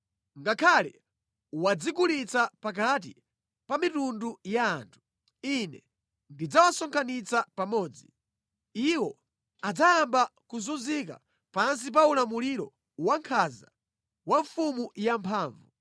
Ngakhale wadzigulitsa pakati pa mitundu ya anthu, Ine ndidzawasonkhanitsa pamodzi. Iwo adzayamba kuzunzika pansi pa ulamuliro wankhanza wa mfumu yamphamvu.